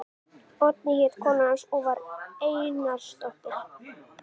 Oddný hét kona hans og var Einarsdóttir.